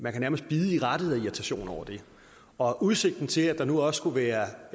man kan nærmest bide i rattet af irritation over det og udsigten til at der nu også skulle være